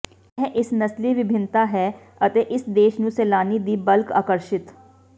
ਇਹ ਇਸ ਨਸਲੀ ਵਿਭਿੰਨਤਾ ਹੈ ਅਤੇ ਇਸ ਦੇਸ਼ ਨੂੰ ਸੈਲਾਨੀ ਦੀ ਬਲਕ ਆਕਰਸ਼ਿਤ